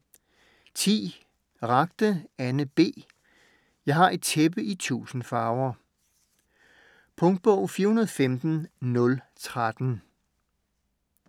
Ragde, Anne B.: Jeg har et tæppe i tusind farver Punktbog 415013